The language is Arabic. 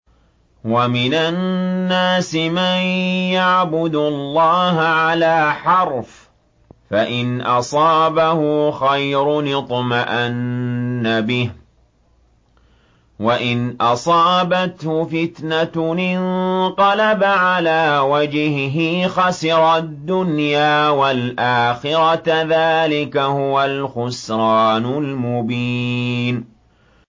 وَمِنَ النَّاسِ مَن يَعْبُدُ اللَّهَ عَلَىٰ حَرْفٍ ۖ فَإِنْ أَصَابَهُ خَيْرٌ اطْمَأَنَّ بِهِ ۖ وَإِنْ أَصَابَتْهُ فِتْنَةٌ انقَلَبَ عَلَىٰ وَجْهِهِ خَسِرَ الدُّنْيَا وَالْآخِرَةَ ۚ ذَٰلِكَ هُوَ الْخُسْرَانُ الْمُبِينُ